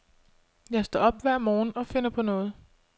Jeg står op hver morgen og finder på noget.